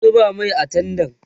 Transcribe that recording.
ki zuba Mai a tendan